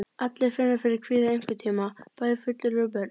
Allir finna fyrir kvíða einhvern tíma, bæði fullorðnir og börn.